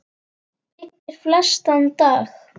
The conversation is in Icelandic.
byggir flestan dag